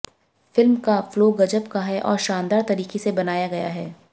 film का flow गजब का है और शानदार तरीके से बनाया गया है